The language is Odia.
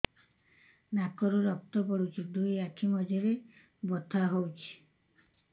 ନାକରୁ ରକ୍ତ ପଡୁଛି ଦୁଇ ଆଖି ମଝିରେ ବଥା ହଉଚି